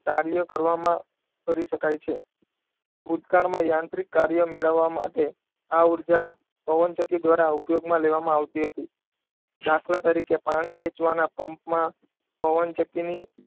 કાર્ય કરવામાં કરી શકાય છે. ભૂતકાળમાં યાંત્રિક કાર્ય મેળવવા માટે આ ઉર્જા પવનચક્કી દ્વારા ઉપયોગમાં લેવામાં આવતી હતી. દાખલા તરીકે પાણી કે ખેંચવાના પંપમાં પવનચક્કીને,